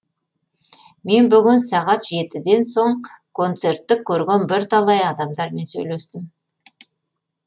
мен бүгін сағат жетіден соң коңцертті көрген бірталай адамдармен сөйлестім